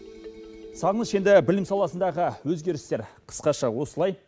сағыныш енді білім саласындағы өзгерістер қысқаша осылай